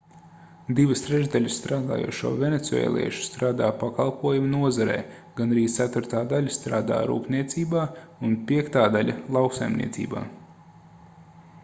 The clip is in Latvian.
divas trešdaļas strādājošo venecuēliešu strādā pakalpojumu nozarē gandrīz ceturtā daļa strādā rūpniecībā un piektā daļa lauksaimniecībā